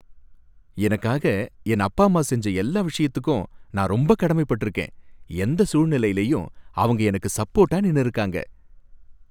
எனக்காக என் அப்பா அம்மா செஞ்ச எல்லா விஷயத்துக்கும் நான் ரொம்ப கடமைப்பட்டிருக்கேன். எந்த சூழ்நிலையிலயும் அவங்க எனக்கு சப்போர்ட்டா நின்னுருக்காங்க